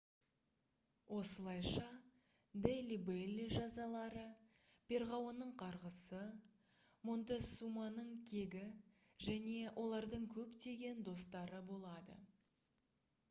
осылайша дели белли жазалары перғауынның қарғысы монтесуманың кегі және олардың көптеген достары болады